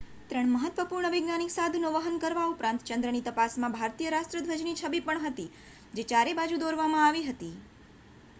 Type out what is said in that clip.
3 મહત્વપૂર્ણ વૈજ્ઞાનિક સાધનો વહન કરવા ઉપરાંત ચંદ્રની તપાસમાં ભારતીય રાષ્ટ્રધ્વજની છબી પણ હતી જે ચારે બાજુ દોરવામાં આવી હતી